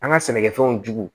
An ka sɛnɛkɛfɛnw jugu